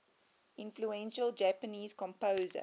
influential japanese composer